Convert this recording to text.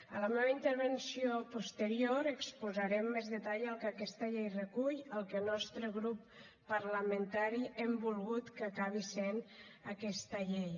en la meva intervenció posterior exposaré amb més detall el que aquesta llei recull el que el nostre grup parlamentari hem volgut que acabi sent aquesta llei